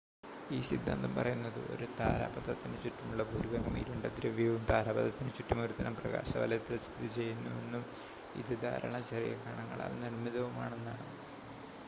ഈ സിദ്ധാന്തം പറയുന്നത് ഒരു താരാപഥത്തിന് ചുറ്റുമുള്ള ഭൂരിഭാഗം ഇരുണ്ട ദ്രവ്യവും താരാപഥത്തിന് ചുറ്റും ഒരുതരം പ്രകാശവലയത്തിൽ സ്ഥിതി ചെയ്യുന്നുവെന്നും ഇത് ധാരാളം ചെറിയ കണങ്ങളാൽ നിർമ്മിതവുമാണെന്നാണ്